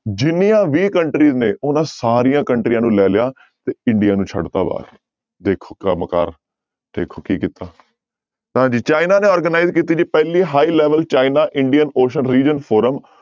ਜਿੰਨੀਆਂ ਵੀ country ਨੇ ਉਹਨਾਂ ਸਾਰੀਆਂ ਕੰਟਰੀਆਂ ਨੂੰ ਲੈ ਲਿਆ ਤੇ india ਨੂੰ ਛੱਡ ਦਿੱਤਾ ਬਾਹਰ ਦੇਖੋ ਕੰਮ ਕਾਰ, ਦੇਖੋ ਕੀ ਕੀਤਾ, ਤਾਂ ਜੀ ਚਾਈਨਾ ਨੇ organize ਕੀਤੀ ਜੀ ਪਹਿਲੀ high level China indian ocean region forum